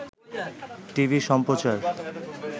TV সম্প্রচার